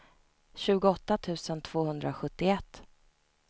tjugoåtta tusen tvåhundrasjuttioett